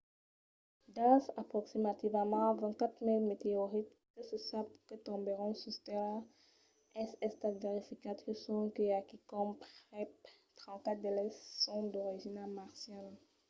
dels aproximativament 24 000 meteorits que se sap que tombèron sus tèrra es estat verificat que sonque a quicòm prèp 34 d'eles son d'origina marciana